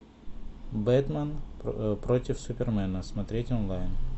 бэтмен против супермена смотреть онлайн